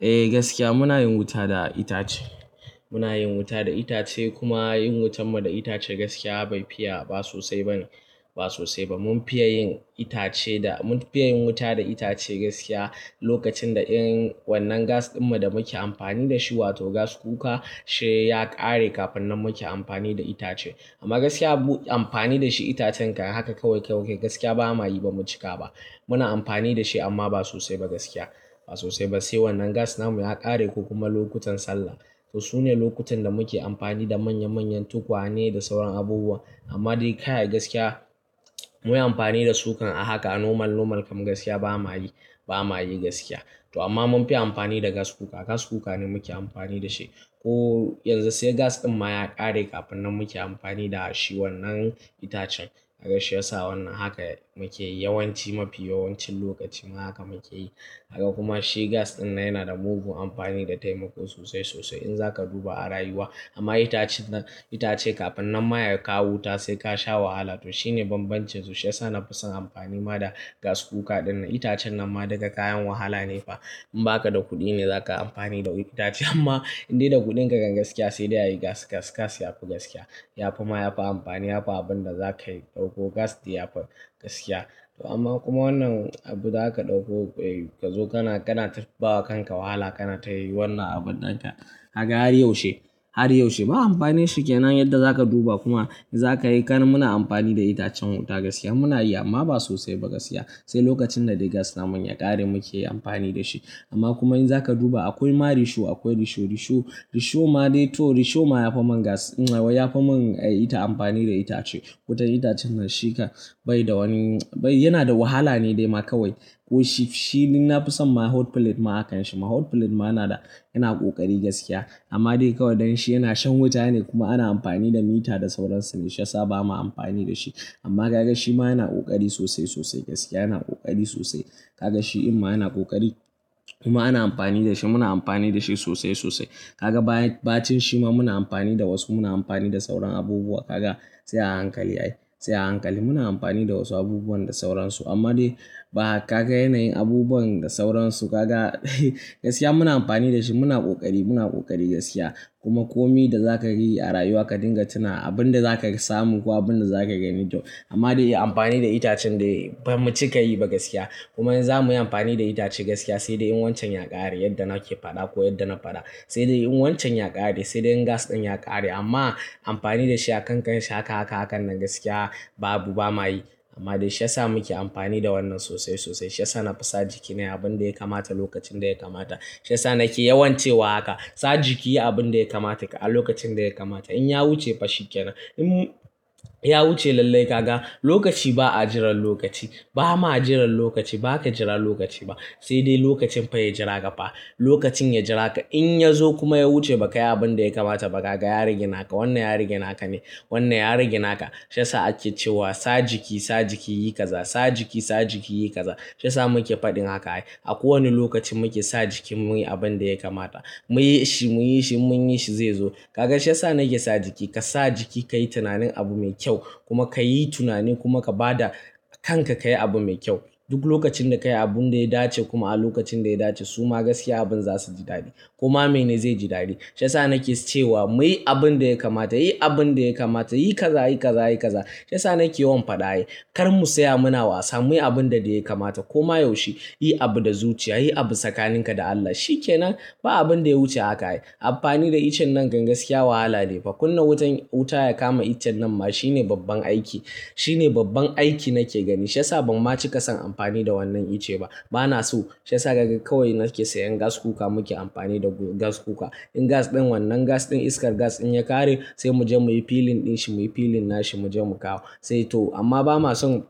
Eh gaskiya muna yin wuta da itace. Muna yin wuta da itace kuma yin wutan mu da itace gaskiya bai fiya ba sosai ba ne, ba sosai ba. Mun fiya yin itace da, mun fiya yin wuta da itace gaskiya lokacin da in wannan gas ɗin da muke amfani da shi, wato gas kuka, shi ya ƙare kafin nan muke amfani da itace. Amma gaskiya mu amfani da shi itacen kan haka kawai gaskiya ba ma yi ba mu cika ba. Muna amfani da shi amma ba sosai ba gaskiya, ba sosai ba. Sai wannan gas na mu ya ƙare ko kuma lokutan sallah. To su ne lokutan da muke amfani da manya manyan tukwane da sauran abubuwa. Amma dai kai gaskiya muyi amfani da su kan a haka a normal normal kam gaskiya ba ma yi, ba ma yi gaskiya. To amma mun fi amfani da gas cooker. Gas cooker ne muke amfani da shi. Ko yanzu sai gas ɗin ma ya ƙare kafin nan muke amfani da shi wannan itacen. Kaga shi ya sa wannan haka muke yi yawanci mafi yawancin lokaci ma haka muke yi. Gaka kuma shi gas ɗin yana da mugun amfani da taimako sosai sosai in za ka duba a rayuwa. Amma itacen nan itace kafin nan ma ya kawo wuta sai ka sha wahala. To shi ne bambancin su. Shi ya sa na fi son amfani ma da gas cooker ɗin nan. Itacen nan ma duka kayan wahala ne fa. In ba ka da kuɗi ne za ka amfani da itace. Amma in dai da kuɗin ka kan gaskiya sai dai ayi gas gas gas yafi gaskiya. Yafi ma yafi amfani, yafi abin da za ka dauko gas ɗin yafi gaskiya. To amma kuma wannan abu za ka dauko, ka zo kana kana bawa kanka wahala kana tayi wannan abun ɗin haka. Kaga har yaushe, har yaushe. Ba amfani shi ke nan yadda za ka duba kuma za ka yi. Kana muna amfani da itacen wuta gaskiya muna yi amma ba sosai ba gaskiya. Sai lokacin da dai gas na mu ya ƙare muke yi amfani da shi. Amma kuma in za ka duba akwai ma risho akwai risho risho risho ma dai to risho ma yafi man gas, yafi mun ita amfani da itace. Wutan itacen nan shi ka bai da wani bai, yana da wahala ne dai ma kawai. Ko shi shi ni na fi son ma hot plate ma akan shi ma. Hot plate ma nada yana ƙoƙari gaskiya. Amma dai kawai dan shi yana shan wuta ne kuma ana amfani da mita da sauransu ne. Shi ya sa ba ma amfani da shi. Amma ka ga shi ma yana ƙoƙari sosai sosai gaskiya. Yana ƙoƙari sosai. Ka ga shi in ma yana ƙoƙari kuma ana amfani da shi muna amfani da shi sosai sosai. Ka ga ba bacin shi ma muna amfani da wasu muna amfani da sauran abubuwa. Ka ga sai a hankali ai, sai a hankali. Muna amfani da wasu abubuwa da sauransu amma dai ba ka ga yanayin abubuwan da sauransu ka ga gaskiya muna amfani da shi muna ƙoƙari muna ƙoƙari gaskiya. Kuma komi da za ka yi a rayuwa ka dinga tuna abin da za ka samu ko abin da za ka gani. To amma dai amfani da itacen dai ba mu cika yi ba gaskiya. Kuma in za mu yi amfani da itace gaskiya sai dai in wancan ya ƙare yadda nake faɗa ko yadda na faɗa. Sai dai in wancan ya ƙare sai dai in gas ɗin ya ƙare. Amma amfani da shi a kan kan shi haka haka hakan nan gaskiya ba abu ba ma yi. Amma dai shi ya sa muke amfani da wannan sosai sosai. Shi ya sa na fi sa jikina nayi abin da ya kamata lokacin da ya kamata. Shi ya sa nake yawancewa haka. Sa jiki yi abin da ya kamata ka a lokacin da ya kamata. In ya wuce fa shi ke nan. In ya wuce lallai ka ga lokaci ba a jiran lokaci. Ba ma jiran lokaci. Ba ka jira lokaci ba. Sai dai lokacin fa ya jira ka fa. Lokacin ya jira ka. In ya zo kuma ya wuce ba ka yi abin da ya kamata ba ka ga ya rage naka. Wannan ya rage naka ne. Wannan ya riga naka. Shi ya sa ake cewa sa jiki, sa jiki yi ƙaza. Sa jiki, sa jiki yi ƙaza. Shi ya sa muke faɗin haka ai. A kowane lokaci mu ke sa jikin muyi abin da ya kamata. Muyi shi, muyi shi, in munyi shi zai zo. Ka ga shi ya sa nake sa jiki. Ka sa jiki ka yi tunanin abu mai kyau kuma ka yi tunani kuma ka ba da kanka ka yi abu mai kyau. Duk lokacin da ka yi abun da ya dace kuma a lokacin da ya dace su ma gaskiya abun za su ji dadi. Koma mene zai ji dadi. Shi ya sa nake cewa muyi abin da ya kamata. Yi abin da ya kamata. Yi ƙaza, yi ƙaza, yi ƙaza. Shi ya sa nake yawan faɗa ai. Kar mu saya muna wasa. Muyi abun da dai ya kamata. Koma yaushe yi abu da zuciya. Yi abu tsakaninka da Allah. Shi ke nan. Ba abin da ya wuce haka ai. Amfani da ice nan kan gaskiya wahala ne fa. Kunna wutan wuta ya kama ice nan ma shi ne babban aiki. Shi ne babban aiki nake gani. Shi ya sa ban ma ci ƙasan amfani da wannan ice ba. Ba na so. Shi ya sa kawai nake sayan gas cooker muke amfani da gas cooker. In gas ɗin wannan gas ɗin iskar gas in ya ƙare sai mu je muyi filling ɗin shi muyi filling nashi mu je mu kawo. Sai to amma ba ma son